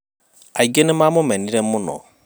aingĩ nĩmamũmenire muno